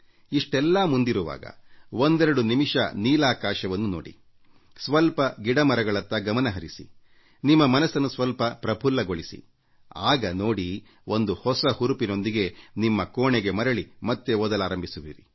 ಇಷ್ಟೆಲ್ಲಾ ಮುಂದಿರುವಾಗ ಒಂದೆರಡು ನಿಮಿಷ ನೀಲಾಕಾಶವನ್ನು ನೋಡಿ ಸ್ವಲ್ಪ ಗಿಡಮರಗಳತ್ತ ಗಮನ ಹರಿಸಿ ನಿಮ್ಮ ಮನಸ್ಸನ್ನು ಸ್ವಲ್ಪ ಪ್ರಫುಲ್ಲಗೊಳಿಸಿ ಆಗ ನೋಡಿ ಒಂದು ಹೊಸ ಹುರುಪಿನೊಂದಿಗೆ ನಿಮ್ಮ ಕೋಣೆಗೆ ಮರಳಿ ಮತ್ತೆ ಓದಲಾರಂಭಿಸುವಿರಿ